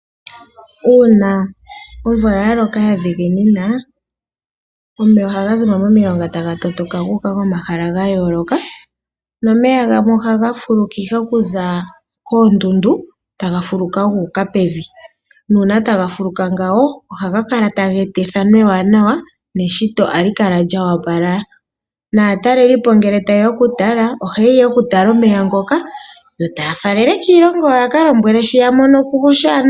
Uuna omvula ya loka ya dhiginina omeya ohagazimo momilonga taga matuka gu uka komahala ga yooloka nomeya gamwe ohaga fuluka ihe okuza koondundu taga fuluka gu uka pevi nuuna taga fuluka ngawo ohaga eta ethano ewanawa neshito ohali kala lyo opala naatalelipo ngele ta yeya okutala omeya ngoka yo taya faalele kiilongo yawo ye keyalombqele shi yamonoko oshiwanawa.